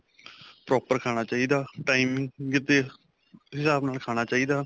proper ਖਾਣਾ ਚਾਹੀਦਾ timing ਦੇ ਹਿਸਾਬ ਨਾਲ ਖਾਣਾ ਚਾਹੀਦਾ